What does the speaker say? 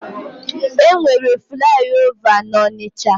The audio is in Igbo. E nwere flaị ova n'Ọnịcha?